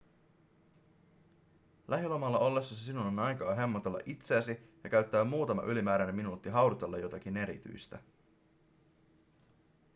lähilomalla ollessasi sinulla on aikaa hemmotella itseäsi ja käyttää muutama ylimääräinen minuutti haudutella jotakin erityistä